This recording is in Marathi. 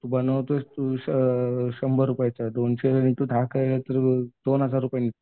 तू बनवतोय तू दोनशे तू दहा केलं तर दोन हजार रुपये